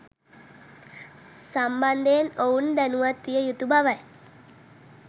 සම්බන්ධයෙන් ඔවුන් දැනුවත් විය යුතු බවයි.